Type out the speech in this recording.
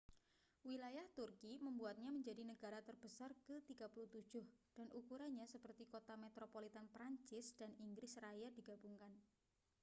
wilayah turki membuatnya menjadi negara terbesar ke 37 dan ukurannya seperti kota metropolitan prancis dan inggris raya digabungkan